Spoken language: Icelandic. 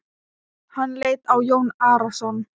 Hann leit á Jón Arason.